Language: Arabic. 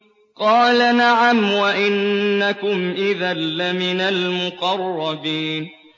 قَالَ نَعَمْ وَإِنَّكُمْ إِذًا لَّمِنَ الْمُقَرَّبِينَ